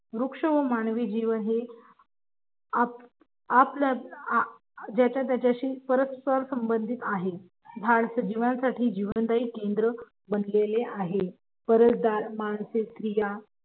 रुक्ष व मानवी जीवन हे ज्याच्या त्याच्याशी परस्पर संबधित आहे झाड सजीवांसाठी जीवनदायी केंद्र बनलेले आहे मानस स्त्रिया